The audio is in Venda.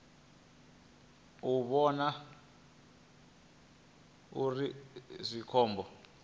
a vhona uri zwi khombo